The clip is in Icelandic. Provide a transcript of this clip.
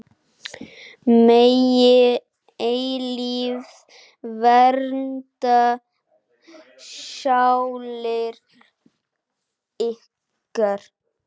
Megi eilífð vernda sálir ykkar.